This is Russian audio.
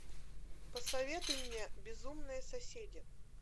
посоветуй мне безумные соседи